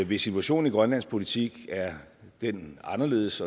hvis situationen i grønlandsk politik er den anderledes